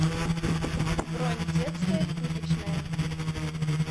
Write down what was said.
бронь детская пыточная